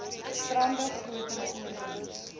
stande groter voorkoms